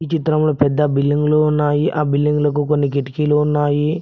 ఈ చిత్రంలో పెద్ద బిల్లింగ్లు ఉన్నాయి ఆ బిల్డింగ్లకు కొన్ని కిటికీలు ఉన్నాయి.